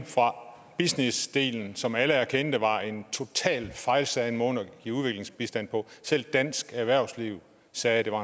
fra businessdelen som alle erkendte var en totalt fejlslagen måde at give udviklingsbistand på selv dansk erhvervsliv sagde at det var